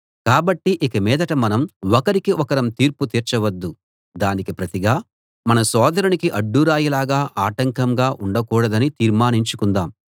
కాబట్టి ఇకమీదట మనం ఒకరికి ఒకరం తీర్పు తీర్చ వద్దు దానికి ప్రతిగా మన సోదరునికి అడ్డురాయిలాగా ఆటంకంగా ఉండకూడదని తీర్మానించుకుందాం